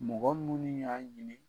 Mɔgɔ minnu y'a ɲini